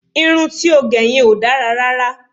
Irun ti ó gẹ yẹn ò ti ẹ̀ dára rárá